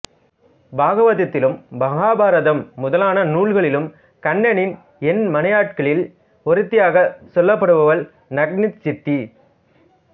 பாகவதத்திலும் மகாபாரதம் முதலான நூல்களிலும் கண்ணனின் எண்மனையாட்டிகளில் ஒருத்தியாகச் சொல்லப்படுபவள் நக்னசித்தி